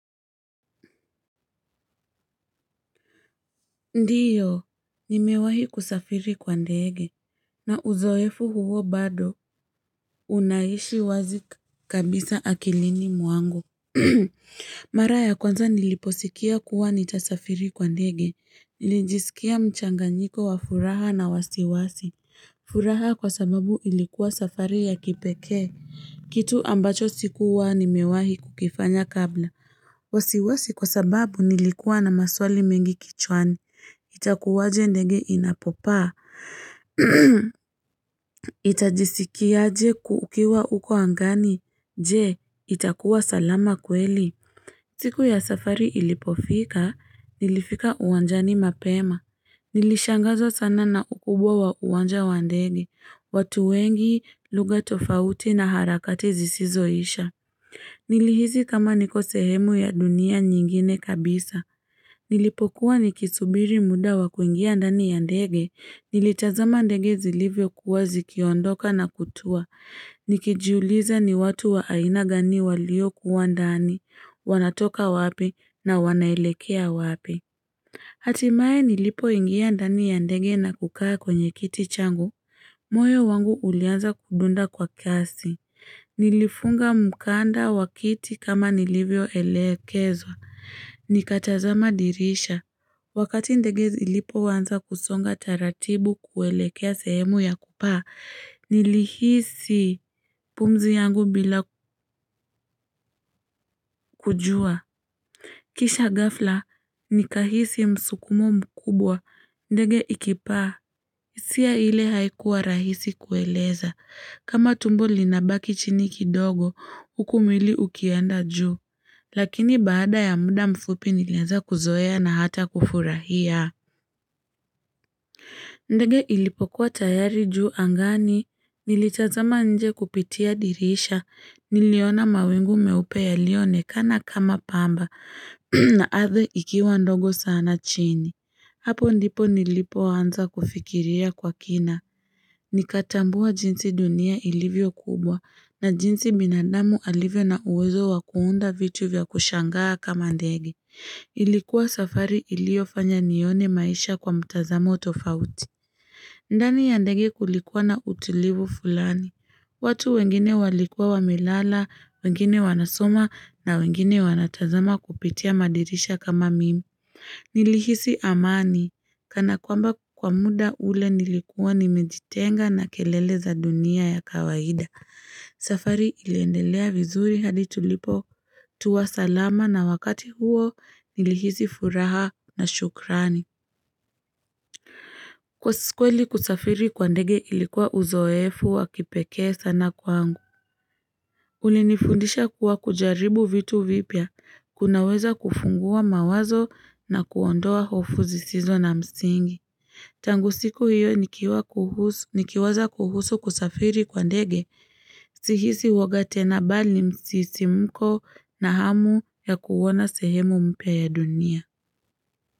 Ndiyo, nimewahi kusafiri kwa ndege. Na uzoefu huo bado, unaishi wazi kabisa akilini mwangu. Mara ya kwanza niliposikia kuwa nitasafiri kwa ndege. Nilijisikia mchanganyiko wa furaha na wasiwasi. Furaha kwa sababu ilikuwa safari ya kipekee. Kitu ambacho sikuwa nimewahi kukifanya kabla. Wasiwasi kwa sababu nilikuwa na maswali mengi kichwani. Itakuwaje ndege inapopaa, utajiskia aje ukiwa huko angani, je, itakuwa salama kweli. Siku ya safari ilipofika, nilifika uwanjani mapema. Nilishangazwa sana na ukubwa wa uwanja wa ndege, watu wengi lugha tofauti na harakati zisizoisha. Nilihisi kama niko sehemu ya dunia nyingine kabisa. Nilipokuwa nikisubiri muda wa kuingia ndani ya ndege, nilitazama ndege zilivyokuwa zikiondoka na kutua, nikijuliza ni watu wa aina gani waliokuwa ndani, wanatoka wapi na wanaelekea wapi. Hatimaye nilipoingia ndani ya ndege na kukaa kwenye kiti changu, moyo wangu ulianza kudunda kwa kiasi. Nilifunga mkanda wa kiti kama nilivyo elekezwa. Nikatazama dirisha. Wakati ndege ilipoanza kusonga taratibu kuelekea sehemu ya kupaa, nilihisi pumzi yangu bila kujua. Kisha ghafla, nikahisi msukumo mkubwa, ndege ikipaa, hisia ile haikuwa rahisi kueleza, kama tumbo linabaki chini kidogo, huku mwili ukienda juu, lakini baada ya muda mfupi nilieza kuzoea na hata kufurahia. Ndege ilipokuwa tayari juu angani, nilitazama nje kupitia dirisha, niliona mawingu meupe yaliyoonekana kama pamba, na ardhi ikiwa ndogo sana chini. Hapo ndipo nilipoanza kufikiria kwa kina. Nikatambua jinsi dunia ilivyo kubwa, na jinsi binadamu alivyo na uwezo wa kuunda vitu vya kushangaa kama ndege Ilikuwa safari iliofanya nione maisha kwa mtazamu tofauti ndani ya ndege kulikuwa na utulivu fulani watu wengine walikuwa wamelala, wengine wanasoma na wengine wanatazama kupitia madirisha kama mimi Nilihisi amani, kana kwamba kwa muda ule nilikuwa nimejitenga na kelele za dunia ya kawaida safari iliendelea vizuri hadi tulipotua salama na wakati huo nilihisi furaha na shukrani. Kwa kweli kusafiri kwa ndege ilikuwa uzoefu wakipekee sana kwangu. Ulinifundisha kuwa kujaribu vitu vipya, kunaweza kufungua mawazo na kuondoa hofu zisizo na msingi. Tangu siku hiyo nikiwa kuhusu nikiwaza kuhusu kusafiri kwa ndege Si hisi uoga tena bali msisimko na hamu ya kuona sehemu mpya ya dunia.